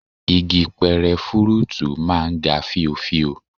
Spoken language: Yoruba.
Igi pẹrẹ fúrúùtù máa ń ga fíofío